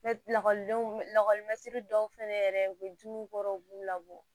Lakɔlidenw lakɔlimɛtiri dɔw fɛnɛ yɛrɛ u be dumuni kɔrɔ u b'u labɔ